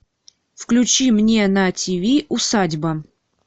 включи мне на тиви усадьба